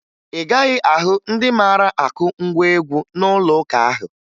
Ị gaghị ahụ ndị mara akụ ngwa egwụ n'ụlọụka ahụ